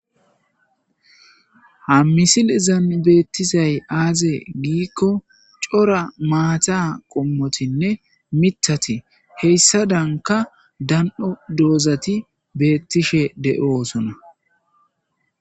Haisilezan beetizay aaze gikon cora maata qommotinne mithati hesadanka hesadanka dan'o doozati beetishe de'osona.